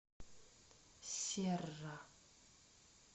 серра